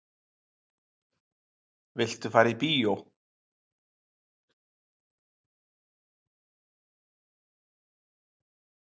Viltu fara í bíó?